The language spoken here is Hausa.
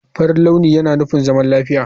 Farin launi yana nufin zaman lafiya.